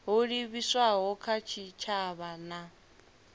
ho livhiswaho kha tshitshavha na